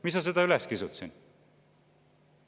Miks sa seda üles kisud siin?